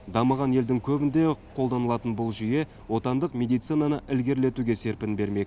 дамыған елдің көбінде қолданылатын бұл жүйе отандық медицинаны ілгерілетуге серпін бермек